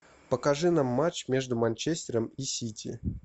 покажи нам матч между манчестером и сити